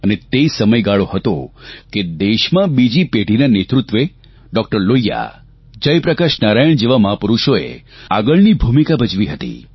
અને તે સમયગાળો હતો કે દેશમાં બીજી પેઢીના નેતૃત્વે ડૉકટર લોહિયા જયપ્રકાશ નારાયણ જેવા મહાપુરૂષોએ આગળની ભૂમિકા ભજવી હતી